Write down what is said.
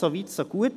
So weit, so gut.